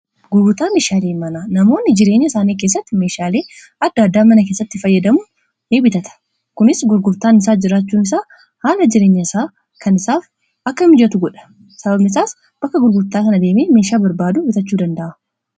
Gurgurtaa meeshaalee mana namoonni jireenya isaanii keessatti meeshaalee adda addaa mana keessatti fayyadamu ni bitatu kunis gurgurtaan isaa jiraachuu isaa haala jireenya isaa kan isaaf akka mijatu godha sababnisaas bakka gurgurtaa kana adeemee meeshaa barbaadu bitachuu danda'a.